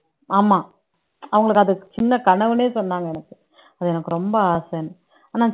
ஆமா அவங்களுக்கு அது சின்ன கனவுன்னே சொன்னாங்க எனக்கு அது எனக்கு ரொம்ப ஆசைன்னு ஆனா